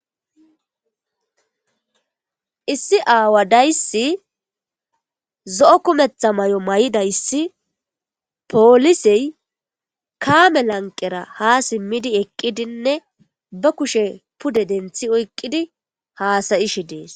Issi aawadaysi zo'o kumetha may'o may'idayssi poolisey kaame lanqera ha simmidi eqqidinne ba kushe pude denthi oyqqidi haasayishe dees.